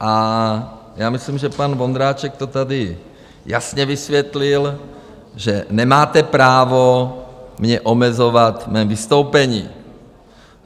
A já myslím, že pan Vondráček to tady jasně vysvětlil, že nemáte právo mě omezovat v mém vystoupení.